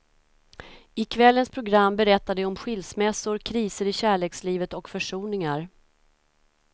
I kvällens program berättar de om skilsmässor, kriser i kärlekslivet och försoningar.